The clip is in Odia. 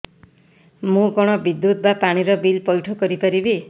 ମୁ କଣ ବିଦ୍ୟୁତ ବା ପାଣି ର ବିଲ ପଇଠ କରି ପାରିବି